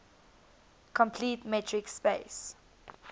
complete metric space